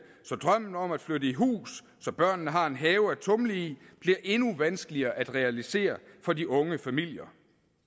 så drømmen om at flytte i hus så børnene har en have at tumle i bliver endnu vanskeligere at realisere for de unge familier